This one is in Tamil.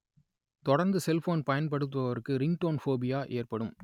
தொடர்ந்து செல்போன் பயன்படுத்துபவருக்கு ரிங்டோன் போபியா ஏற்படும்